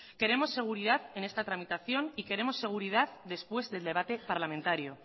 queremos seguridad en esta tramitación y queremos seguridad después del debate parlamentario